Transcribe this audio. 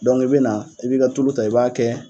i bɛ na i b'i ka tulu ta i b'a kɛ